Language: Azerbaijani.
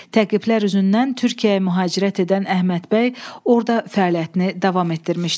Təqiblər üzündən Türkiyəyə mühacirət edən Əhməd bəy orda fəaliyyətini davam etdirmişdi.